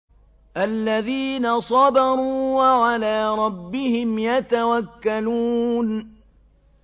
الَّذِينَ صَبَرُوا وَعَلَىٰ رَبِّهِمْ يَتَوَكَّلُونَ